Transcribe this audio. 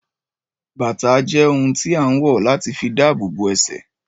Bàtà jẹ́ ohun tí a ń wọ̀ láti fi dabobo ẹsẹ̀